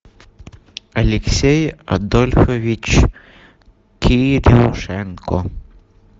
алексей адольфович кирюшенко